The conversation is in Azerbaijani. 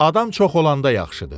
Adam çox olanda yaxşıdır.